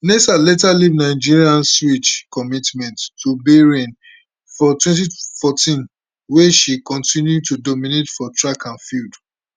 naser later leave nigeria switch commitment to bahrain for 2014 wia she continue to dominate for track and field